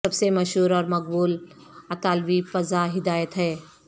سب سے مشہور اور مقبول اطالوی پزا ہدایت ہے